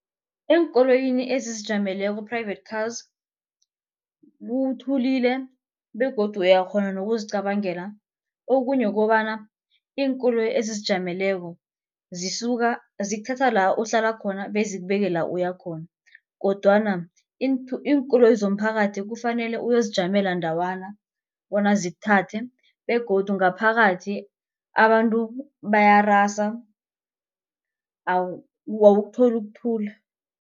Eenkoloyini ezizijameleko private cars kuthulile begodu uyakghona nokuzicabangela okunye kobana iinkoloyi ezizijameleko zisuka zikuthatha la uhlala khona bezikubeke la uya khona. Kodwana iinkoloyi zomphakathi kufanele uyozijamela ndawana bona zikuthathe begodu ngaphakathi abantu bayarasa awukutholi ukuthula.